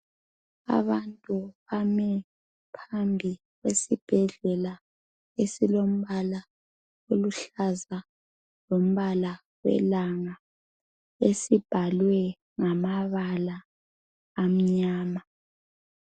abantu bami phambi kwesibhedlela esilombala oluhlaza lombala welanga esibhalwe ngamabala amnyama